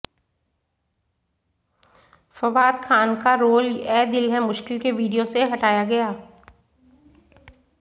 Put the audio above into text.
फवाद खान का रोल ऐ दिल है मुश्किल के वीडियो से हटाया गया